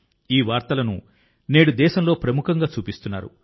ఈ వార్తలను నేడు దేశంలో ప్రముఖంగా చూపిస్తున్నారు